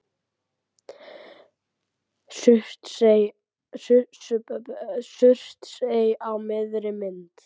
Surtsey á miðri mynd.